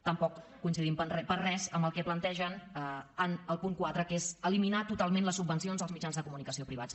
tampoc coincidim per res amb el que plantegen el punt quatre que és eliminar totalment les subvencions als mitjans de comunicació privats